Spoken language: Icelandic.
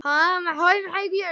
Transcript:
Það var því úr vöndu að ráða.